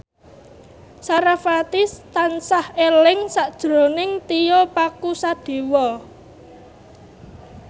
sarasvati tansah eling sakjroning Tio Pakusadewo